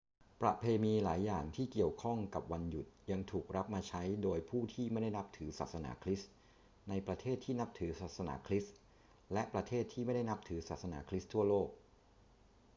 ประเพณีหลายอย่างที่เกี่ยวข้องกับวันหยุดยังถูกรับมาใช้โดยผู้ที่ไม่ได้นับถือศาสนาคริสต์ในประเทศที่นับถือศาสนาคริสต์และประเทศที่ไม่ได้นับถือศาสนาคริสต์ทั่วโลก